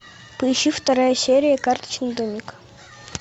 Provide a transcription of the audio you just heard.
поищи вторая серия карточный домик